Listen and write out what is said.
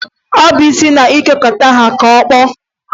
Ọ bụ isi na-etokata ha ka okpu.